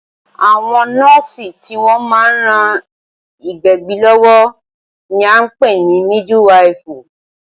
Àwọn nọ́ọ̀sì tí wọ́n má ń ran ìgbẹ̀bí lọ́wọ́ ní a ń pè ní mídwifù.